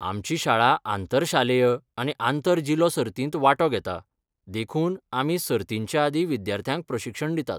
आमची शाळा आंतर शालेय आनी आंतर जिल्लो सर्तींत वांटो घेता, देखून आमी सर्तींचेआदीं विद्यार्थ्यांक प्रशिक्षण दितात.